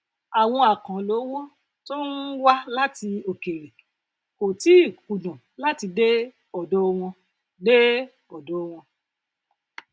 àwọn àkànlò owó tó ń um wá láti òkèèrè kò tíì um kùnà láti dé òdò wọn dé òdò wọn